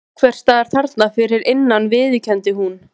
Einhvers staðar þarna fyrir innan viðurkenndi hún.